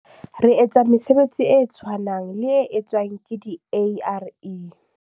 "Re etsa mesebetsi e tshwanang le e tswang ke di-ARE."